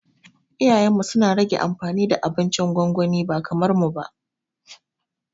Iyayenmu suna rage amfani da abincin gwangwani ba kamar mu ba